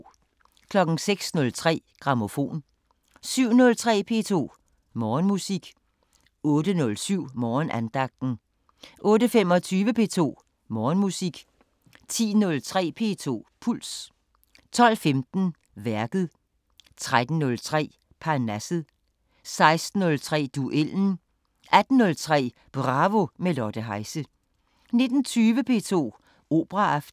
06:03: Grammofon 07:03: P2 Morgenmusik 08:07: Morgenandagten 08:25: P2 Morgenmusik 10:03: P2 Puls 12:15: Værket 13:03: Parnasset 16:03: Duellen 18:03: Bravo med Lotte Heise 19:20: P2 Operaaften